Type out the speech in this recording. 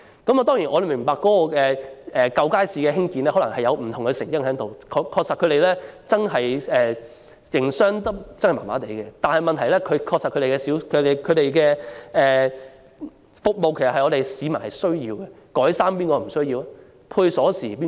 我們明白舊街市的冷清可能有不同成因，該處的商戶確實不太善於營商，但問題是市民確實需要有關服務，試問誰不需要改衣和配製鎖匙服務？